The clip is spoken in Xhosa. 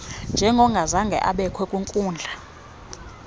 njengongazange ubekho yinkundla